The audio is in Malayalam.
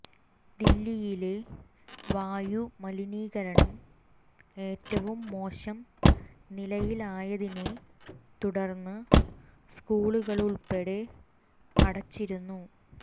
ദില്ലിയിലെ വായു മലിനീകരണം ഏറ്റവും മോശം നിലയിലായതിനെ തുടര്ന്ന് സ്കൂളുകള് ഉള്പ്പെടെ അടച്ചിരുന്നു